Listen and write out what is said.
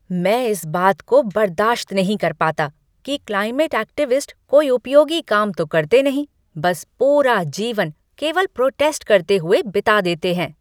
मैं इस बात को बर्दाश्त नहीं कर पाता कि क्लाइमेट एक्टिविस्ट कोई उपयोगी काम तो करते नहीं, बस पूरा जीवन केवल प्रोटेस्ट करते हुए बिता देते हैं।